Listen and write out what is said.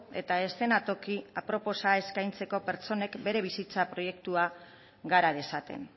eta eszenatoki aproposa eskaintzeko pertsonek bere bizitza proiektua gara dezaten